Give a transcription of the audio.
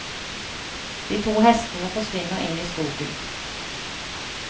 De to hestene forsvinner inn i skogen.